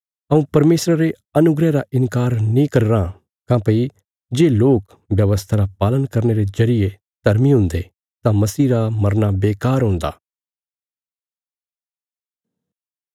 हऊँ परमेशरा रे अनुग्रह रा इन्कार नीं करी रां काँह्भई जे लोक व्यवस्था रा पालन करने रे जरिये धर्मी हुन्दे तां मसीह रा मरना बेकार हुन्दा